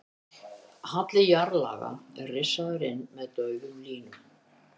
Halli jarðlaga er rissaður inn með daufum línum.